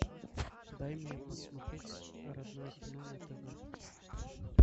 дай мне посмотреть родное кино на тв